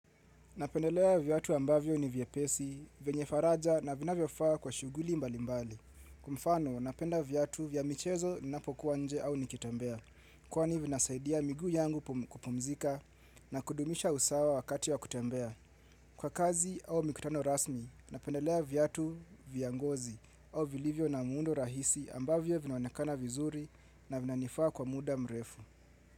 Napendelea viatu ambavyo ni vyepesi, vyenye faraja na vina vyofaa kwa shughuli mbali mbali. Kwa mfano, napenda viatu vya michezo ninapokuwa nje au nikitembea. Kwani vinasaidia miguu yangu kupumzika na kudumisha usawa wakati wa kutembea. Kwa kazi au mikutano rasmi, napendelea viatu vya ngozi au vilivyo na muundo rahisi ambavyo vinaonekana vizuri na vinanifaa kwa muda mrefu.